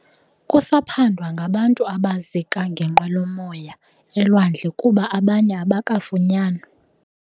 Kusaphandwa ngabantu abazika ngenqwelomoya elwandle kuba abanye abakafunyanwa.